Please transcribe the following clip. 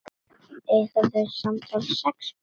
Eiga þau samtals sex börn.